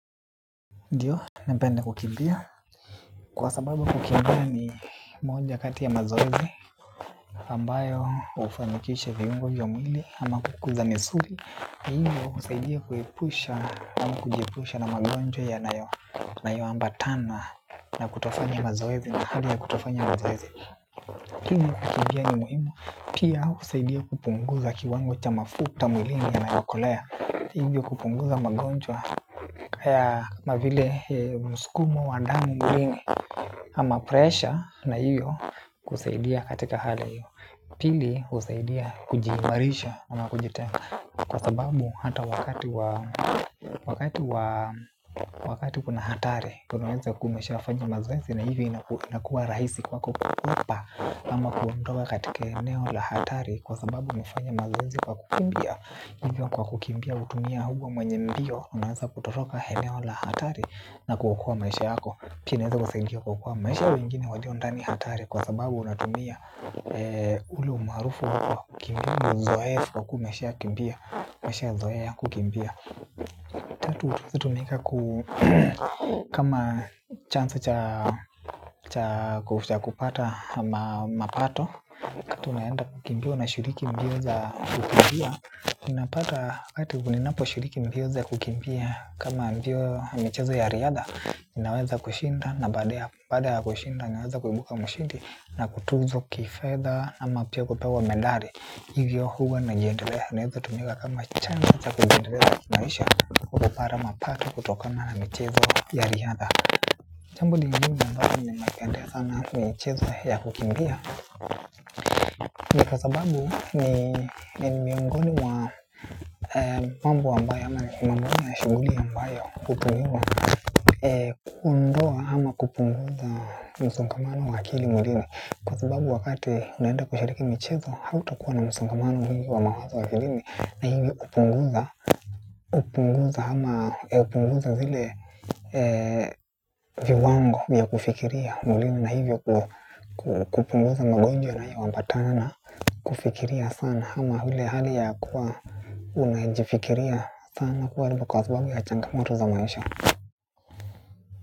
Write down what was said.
Ndiyo, mpenda kukimbia. Kwa sababu kukimbia ni moja kati ya mazoezi ambayo hufanikisha viungo vya mwili ama kukuza misuli. Ndiyo, husaidia kujiepusha na magonjwa yanayoambatana na kutofanya mazoezi na hali ya kutofanya mazoezi. Kini, kukibia ni muhimu. Pia husaidia kupunguza kiwango cha mafuta mwilini yanayokolea. Hivyo kupunguza magonjwa. Kaya mavile msukumo wa damu mwilini ama presha na hivyo kusaidia katika hali hivyo. Pili husaidia kujiimarisha ama kujitenga kwa sababu hata wakati wakati wakati kuna hatari. Kunaweza kuwa umeshafanya mazoezi na hivyo inakuwa raisi kwa kukwepa ama kuondoka katika eneo la hatari kwa sababu umefanya mazoezi kwa kukimbia hivyo kwa kukimbia hutumia huwa mwenye mbio. Unaweza kutoroka eneo la hatari na kuokoa maisha yako. Pia inaweza kusaidia kuokoa maisha ya wengine walio ndani ya hatari. Kwa sababu unatumia ule umaarufu wako wa kukimbia kwa uzoefu wa kumbia umeshazoea kukimbia. Tatu hutututumika. Kama chance cha kupata mapato. Kato unaanda kukimbia na shuriki mbio za kukimbia inapata kati kuninapo shiriki mpio za kukimbia kama mbio michezo ya riadha inaweza kushinda na baada ya kushinda inaweza kuibuka mshindi na kutuzwa kifedha ama pia kupewa medali. Ivyo ya huwa najiendelenaweza tumika kama chanzo kujiendeleza kimaisha kupata mapato kutokana na mchezo ya riadha. Jambo lingine ambalo ninapendea sana na mchezo ya kukimpia. Ni kwa sababu ni miongoni wa mambo ambayo ama mambo ya shughuli ambayo kupungiwa kundoa ama kupunguza msunkamano wa akili mulini kwa sababu wakati unenda kushariki michezo hato kuwa na msunkamano mingi wa mawazo wa kilini na hivi upunguza ama hupunguza zile viwango ya kufikiria mwilini na hivyo kukupunguza magonjwa na hiyo huambatana. Kufikiria sana ama ile hali ya kuwa unajifikiria sana kuaribu kwa sababu ya changamoto za maisha.